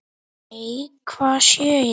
Nei, hvað sé ég!